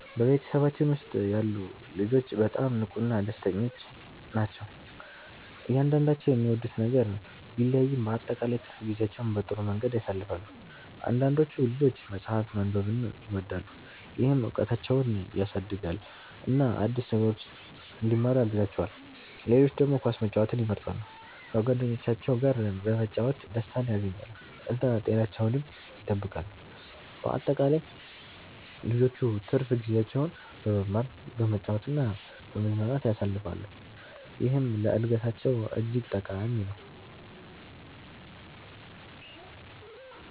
በቤተሰባችን ውስጥ ያሉ ልጆች በጣም ንቁና ደስተኞች ናቸው። እያንዳንዳቸው የሚወዱት ነገር ቢለያይም በአጠቃላይ ትርፍ ጊዜያቸውን በጥሩ መንገድ ያሳልፋሉ። አንዳንዶቹ ልጆች መጽሐፍ ማንበብን ይወዳሉ፣ ይህም እውቀታቸውን ያሳድጋል እና አዲስ ነገሮችን እንዲማሩ ያግዛቸዋል። ሌሎች ደግሞ ኳስ መጫወትን ይመርጣሉ፣ በጓደኞቻቸው ጋር በመጫወት ደስታን ያገኛሉ እና ጤናቸውንም ይጠብቃሉ። በአጠቃላይ ልጆቹ ትርፍ ጊዜያቸውን በመማር፣ በመጫወት እና በመዝናናት ያሳልፋሉ፣ ይህም ለእድገታቸው እጅግ ጠቃሚ ነው።